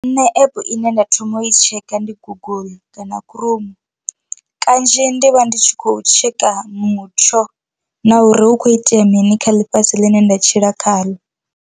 Nṋe app ine nda thoma u i tshekha ndi google kana chrome kanzhi ndi vha ndi tshi khou tsheka mutsho na uri hu kho itea mini kha ḽifhasi ḽine nda tshila khaḽo.